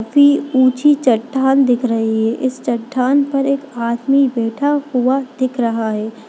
फी ऊंची चट्टान दिख रही है इस चट्टान पर एक आदमी बैठा हुआ दिख रहा है।